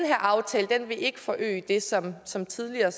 her aftale vil ikke forøge det som som tidligere